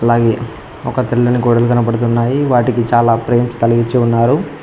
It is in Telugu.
అయి ఒక తెల్లని గోడలు కనపడుతున్నాయి వాటికీ చాలా ఫ్రేమ్స్ తలిగిచ్చి ఉన్నారు.